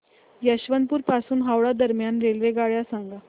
यशवंतपुर पासून हावडा दरम्यान रेल्वेगाड्या सांगा